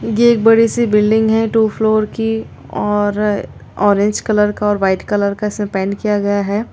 ये एक बड़ी सी बील्डिंग है टू फ्लोर की और ऑरेंज कलर का व्हाइट कलर का इसमें पेंट किया गया है।